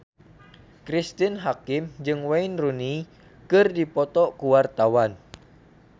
Cristine Hakim jeung Wayne Rooney keur dipoto ku wartawan